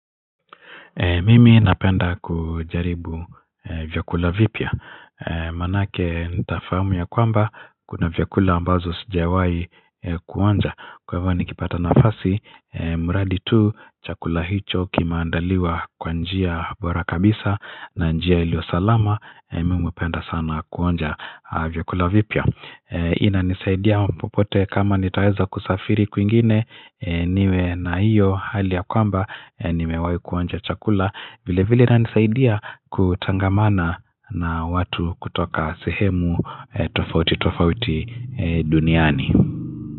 Mimi napenda kujaribu vyakula vipya Manake nitafahamu ya kwamba Kuna vyakula ambazo sijawai kuonja Kwa hivyo nikipata nafasi mradi tu chakula hicho kimeandaliwa kwa njia bora kabisa na njia iliyo salama Mimi napenda sana kuonja vyakula vipya inanisaidia popote kama nitaweza kusafiri kuingine niwe na iyo hali ya kwamba nimewahi kuonja chakula vile vile inanisaidia kutangamana na watu kutoka sehemu tofauti tofauti duniani.